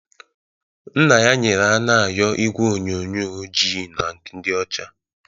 Nna ya nyere Anayo igwe onyonyo ojii na ndị ọcha